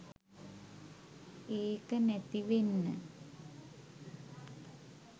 ඒක නැති වෙන්න